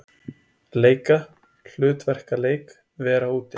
Leika- hlutverkaleik- vera úti